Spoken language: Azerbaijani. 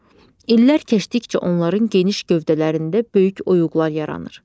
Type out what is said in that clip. İllər keçdikcə onların geniş gövdələrində böyük oyğuqlar yaranır.